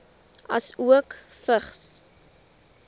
asook vigs